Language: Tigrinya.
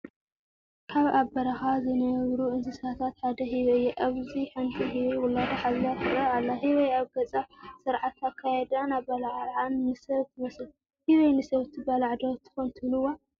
ካብ ኣብ በረኻ ዝነብሩ እንስሳታት ሓደ ህበይ እዩ፡፡ ኣብዚ ሓንቲ ህበይ ውላዳ ሓዚላ ትረአ ኣላ፡፡ ህበይ ኣብ ገፃ፣ ስርዓተ ኣካያይድኣን ኣበላልዓኣን ንሰብ ትመስል፡፡ ህበይ ንሰብ ትባላዕ ዶ ትኾን ትብልዋ?